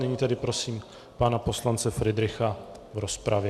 Nyní tedy prosím pana poslance Fridricha v rozpravě.